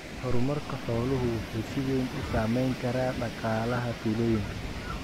Horumarka xooluhu wuxuu si weyn u saamayn karaa dhaqaalaha tuulooyinka.